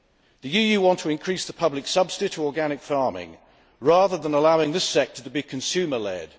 The EU wants to increase the public subsidy to organic farming rather than allowing this sector to be consumer led.